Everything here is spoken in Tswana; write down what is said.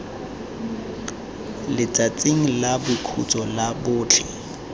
letsatsing la boikhutso la botlhe